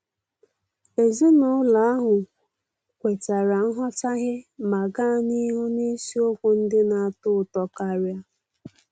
Ezinụlọ ahụ kwetara nghọtahie ma gaa n'ihu n'isiokwu ndị na-atọ ụtọ karia.